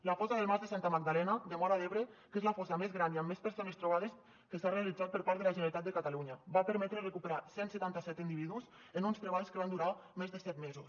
la fossa del mas de santa magdalena de móra d’ebre que és la fossa més gran i amb més persones trobades que s’ha realitzat per part de la generalitat de catalunya va permetre recuperar cent i setanta set individus en uns treballs que van durar més de set mesos